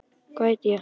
Hvað heiti ég?